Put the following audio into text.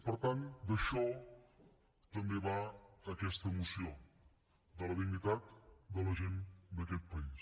per tant d’això també va aquesta moció de la dignitat de la gent d’aquest país